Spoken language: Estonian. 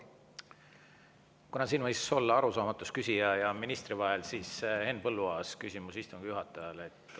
Kuna siin võis olla arusaamatus küsija ja ministri vahel, siis Henn Põlluaas, küsimus istungi juhatajale.